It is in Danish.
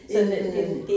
En